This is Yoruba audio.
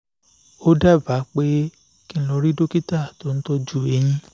ó dábàá pé kí n n lọ rí dókítà tó ń tọ́jú eyín